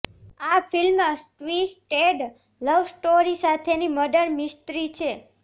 આ film twisted love story સાથેની murder mystery છે